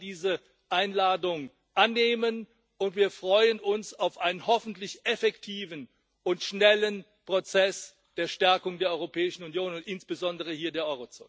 Wir wollen diese Einladung annehmen, und wir freuen uns auf einen hoffentlich effektiven und schnellen Prozess der Stärkung der Europäischen Union und insbesondere hier der